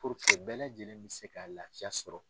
bɛɛ lajɛlen bɛ se ka laafiya sɔrɔ.